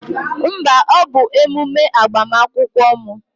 Mba, ọ bụ emume agbamakwụkwọ m